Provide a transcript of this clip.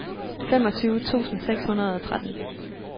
femogtyve tusind seks hundrede og tretten